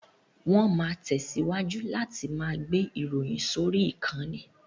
Wọn ma tẹ̀síwájú láti ma gbé ìròyìn sórí ìkànnì